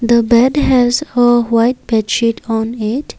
the bed has a white bed sheet on it.